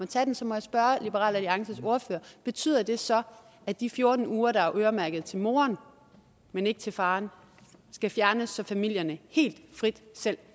tage dem så må jeg spørge liberal alliances ordfører betyder det så at de fjorten uger der er øremærket til moren men ikke til faren skal fjernes så familierne helt frit selv